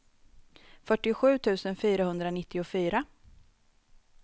fyrtiosju tusen fyrahundranittiofyra